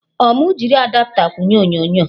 Ọ mụ jiri Adapta kwụnye onyonyo?